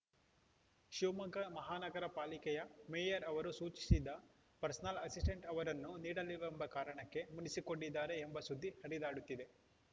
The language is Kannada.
ಶಿವಮೊಗ್ಗ ಮಹಾನಗರ ಪಾಲಿಕೆಯ ಮೇಯರ್‌ ಅವರು ಸೂಚಿಸಿದ ಪರ್ಸನಲ್‌ ಅಸಿಸ್ಟೆಂಟ್‌ ಅವರನ್ನು ನೀಡಿಲ್ಲವೆಂಬ ಕಾರಣಕ್ಕೆ ಮುನಿಸಿಕೊಂಡಿದ್ದಾರೆ ಎಂಬ ಸುದ್ದಿ ಹರಿದಾಡುತ್ತಿದೆ